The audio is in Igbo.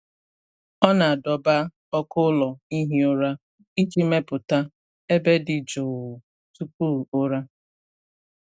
Ọ na-adọba ọkụ ụlọ ihi ụra iji mepụta ebe dị jụụ tupu ụra.